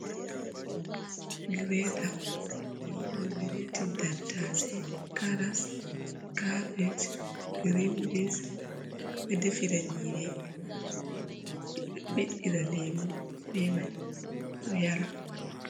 Gireeta jey waɗugo gireetin tattaasay, karas, kaabej, girinbins ɓed ɗoe defira nyiiri nyama, ɓe ɗo ɓiɗɗira leemu bee may ɓe yara.